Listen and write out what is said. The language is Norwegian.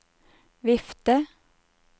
vifte